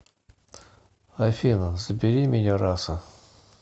афина забери меня раса